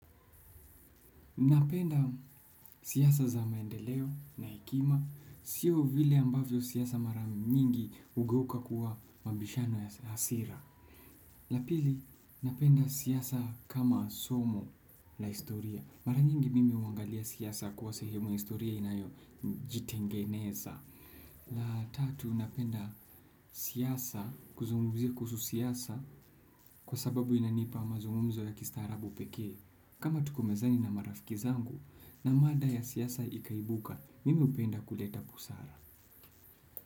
Napenda siasa za maendeleo na hekima. Sio vile ambavyo siasa mara nyingi hugeuka kuwa mabishano ya hasira. La pili, napenda siasa kama somo la historia. Mara nyingi mimi huangalia siasa kuwa sehemu ya historia inayo jitengeneza. La tatu, napenda siasa kuzungumzia kuhusu siasa kwa sababu inanipa mazungumuzo ya kistarabu pekee. Kama tuko mezani na marafiki zangu na mada ya siasa ikaibuka, mimi hupenda kuleta busara.